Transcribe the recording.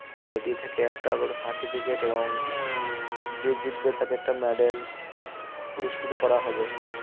Committee থেকে একটা করে certificate এবং যে জিতবে তাকে একটা medal পুরস্কৃত করা হবে